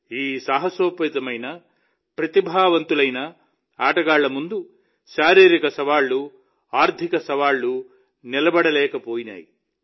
ఈ సాహసోపేతమైన ప్రతిభావంతులైన ఆటగాళ్ల ముందు శారీరక సవాళ్లు ఆర్థిక సవాళ్లు నిలబడలేకపోయాయి